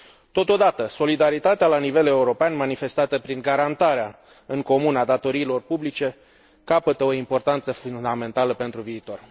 Totodată, solidaritatea la nivel european, manifestată prin garantarea în comun a datoriilor publice, capătă o importanță fundamentală pentru viitor.